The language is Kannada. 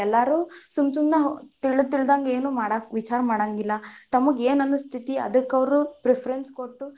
ಎಲ್ಲರೂ ಸುಮ್ಮ್ ಸುಮ್ಮನ ತಿಳ್ ತಿಳ್ದಂಗ ಏನು ವಿಚಾರ ಮಾಡಂಗಿಲ್ಲ, ತಮಗ ಏನ್ ಅನಸ್ತೇತಿ ಅದಕ್ ಅವ್ರು preference ಕೊಟ್ಟು,